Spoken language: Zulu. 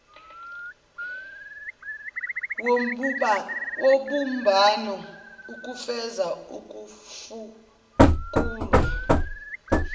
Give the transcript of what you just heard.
wobumbano ukufeza ukufukulwa